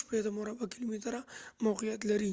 sq m کې موقعیت لري